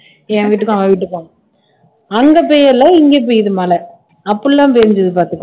என் வீட்டுக்கும் அவ வீட்டுக்கும் அங்க பெய்யரல இங்க பெய்யுது மழை அப்படிலாம் பேஞ்சது பார்த்துக்கோ